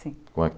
Sim.